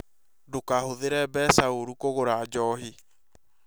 Ndũkahũthĩre mbeca orũ kũgũra njohi